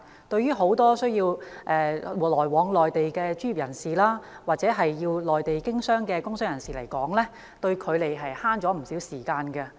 對於很多需要前往內地工作的專業人士，或者到內地經商的工商界人士來說，這兩項基建的確為他們節省不少時間。